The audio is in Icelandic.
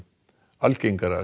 algengara